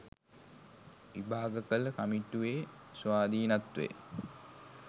විභාග කළ කමිටුවේ ස්වාධීනත්වය